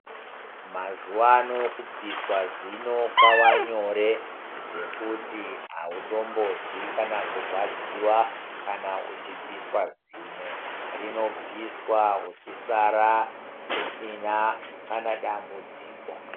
Mazuva ano kubviswa zino kwavanyore zvekuti hautombozwi kana kurwadziva kana uchibviswa zino. Rinobviswa uchisara usina kana dambudziko.